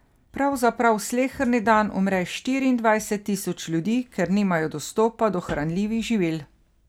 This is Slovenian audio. Pravzaprav sleherni dan umre štiriindvajset tisoč ljudi, ker nimajo dostopa do hranljivih živil.